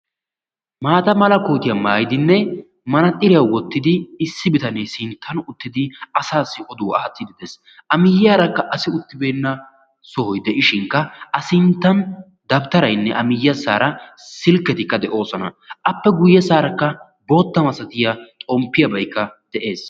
Maatta mala koottiya maayiddi ba ayfiyan manaaxxiriya wottiddi bitane oduwaa aattees a matan hara asi baawa silkketti oyddetti de'osonna.